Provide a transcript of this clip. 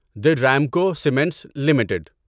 the Remco cements limited